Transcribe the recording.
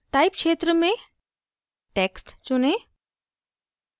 type क्षेत्र के लिए text चुनें